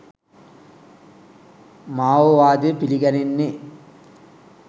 මා ඕ වාදය පිළිගැනෙන්නේ